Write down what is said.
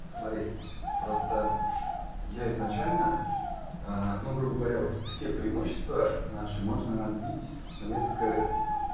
смотри просто я изначально ну грубо говоря вот все преимущества наши можно разбить на несколько